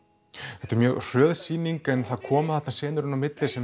þetta er mjög hröð sýning en það koma þarna senur inn á milli sem